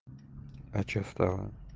а что стало